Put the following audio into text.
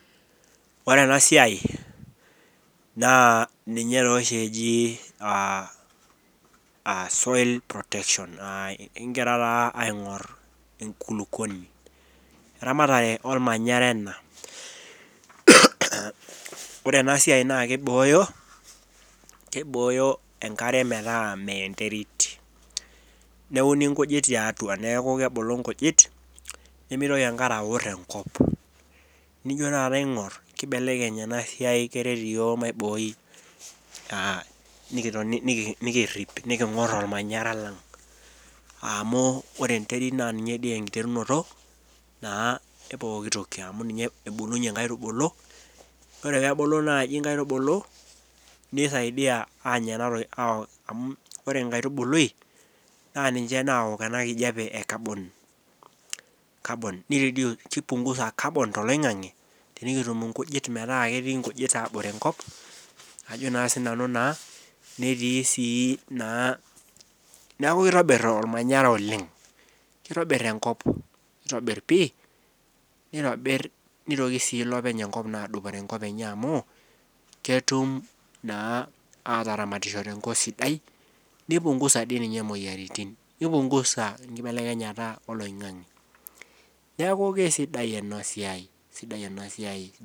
Ore ena siai naa ninte oshi eji soil protection ekigira taa aing'or enkulukoni. Iramatare olmanyara ana. Ore ena siai naa keibooyo, keibooyo enkare metaa meea enterit. Neuni enkujit tiatua, neaku kebulu enkujit nemeitoki enkare aor enkop. Nijo taata aing'or keibelekeny ena siai keret yook maibooi, nikitoni nikirrip, niking'or olmanyara lang' amu ore enterit naa ninye dei enkiterinoto naa epooki toki, amu ninye ebulunye inkaitubulu, ore peebulu naaji inkaitubulu ,neisaidia aanyararoi amu ore enkaitubului naa ninche naok ena enkijape e carbon neireduce, keipungusa carbon[cs[ te eloing'ang'e, tenikitum inkujit metaa ketii inkujit aabore enkop, ajo naa sii nanu naa, netii si naa, neaku keitobir olmanyara oleng, keitobirr enkop, keitobirr pii neitobirr, neitokii si elopeny enkop aadupore nkop enyee amuu ketum na aataramatisho tenkop sidai, neipungusa dei rei ninye imoyiaritin. Neipungusa enkibelekenyata eloing'ang'e. Neaku kesidai ena siai, esidai ena siai.